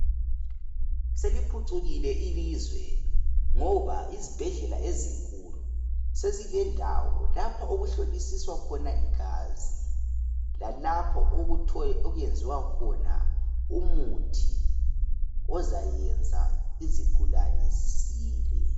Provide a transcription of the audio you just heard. Seliphucukile ilizwe ngoba izibhedlela ezinkulu sezilendawo lapho okuhlolisiswa khona igazi lalapho okwenziwa khona umuthi ozayenza izigulane zisile.